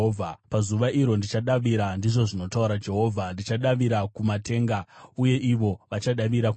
“Pazuva iro ndichadavira,” ndizvo zvinotaura Jehovha, “ndichadavira kumatenga uye ivo vachadavira kunyika;